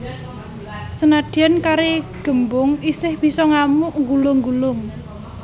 Senadyan kari gembung isih bisa ngamuk nggulung nggulung